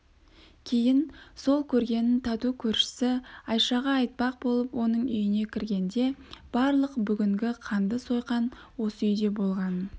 кейін сол көргенін тату көршісі айшаға айтпақ болып оның үйіне кіргенде барлық бүгінгі қанды сойқан осы үйде болғанын